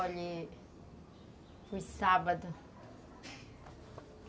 Olhe, foi sábado.